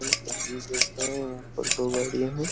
तस्वीर देख रहे हैं। यहाँ पर दो गाड़ियां हैं।